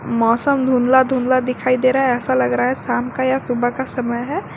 मौसम धुंधला धुंधला दिखाई दे रहा है ऐसा लग रहा है शाम का या सुबह का समय है।